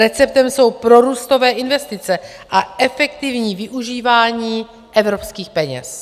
Receptem jsou prorůstové investice a efektivní využívání evropských peněz.